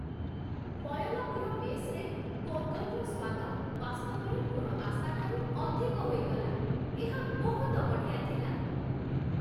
ମୟଲାପୁର ମେସ୍‌ରେ ପୋଙ୍ଗଲର ସ୍ୱାଦ ବାସ୍ତବରେ ମୋର ଆଶାଠାରୁ ଅଧିକ ହୋଇଗଲା। ଏହା ବହୁତ ବଢ଼ିଆ ଥିଲା।